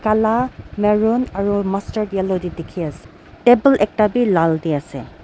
la marun aru mustard yellow tae dikhiase table ekta bi lal tae ase.